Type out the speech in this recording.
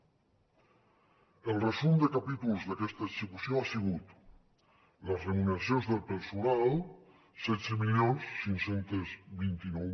el resum de capítols d’aquesta execució ha sigut les remuneracions del personal setze mil cinc cents i vint nou